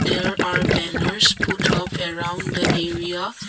There are banners put up around the area.